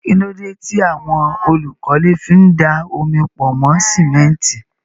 Kí ló dé tí àwọn olùkọ́lé fi ń da omi pọ̀ mọ́ símẹ́ńtì?